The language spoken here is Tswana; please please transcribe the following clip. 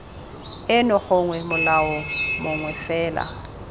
eno gongwe molao mongwe fela